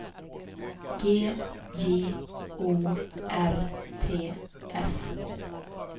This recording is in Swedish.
G J O R T S